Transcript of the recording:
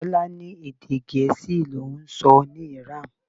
Tọ́lá ní Èdè Gèésì l'oun ń sọ ní Iran.